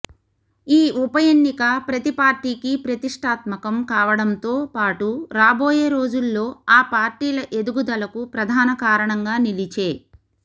ఈ ఉపఎన్నిక ప్రతి పార్టీకి ప్రతిష్టాత్మకం కావడంతో పాటు రాబోయే రోజుల్లో ఆ పార్టీల ఎదుగుదలకు ప్రధాన కారణంగా నిలిచే